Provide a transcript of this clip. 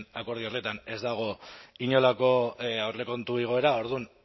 akordio horretan ez dago inolako aurrekontu igoera orduan